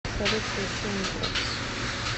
салют включи антракс